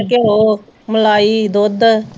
ਘਿਓ, ਮਲਾਈ, ਦੁੱਧ